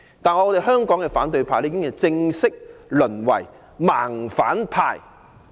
但香港的反對派已正式淪為"盲反派"。